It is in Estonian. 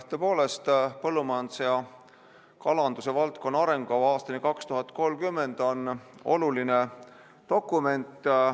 Tõepoolest, "Põllumajanduse ja kalanduse valdkonna arengukava aastani 2030" on oluline dokument.